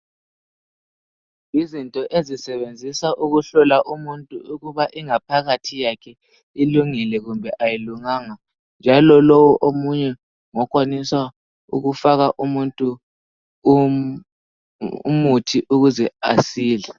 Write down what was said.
Yizinto ezisebenzisa ukuhlola umuntu ukuba ingaphakathi yakhe ilingile kumbe ayilunganga njalo lowo omunye ngokwanisa ukufaka umuntu umuthi ukuze asile.